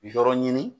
Yɔrɔ ɲini